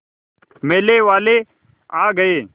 मेले वाले आ गए